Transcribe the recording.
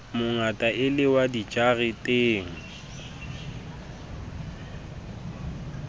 mongata e le wa dijareteng